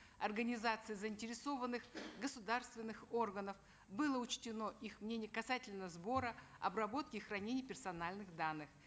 организаций заинтересованных государственных органов было учтено их мнение касательно сбора обработки и хранения персональных данных